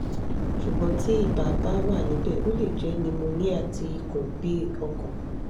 sugbon ti iba ba wanibe o le je pneumonia ti ikun bi okan